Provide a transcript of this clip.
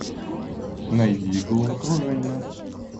найди головокружение